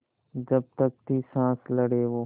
जब तक थी साँस लड़े वो